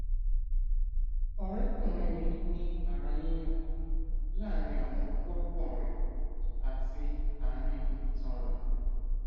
ọrẹkùnrin mi ní ara yíyún láàárín àwọn kórópọn rẹ àti àárín itan rẹ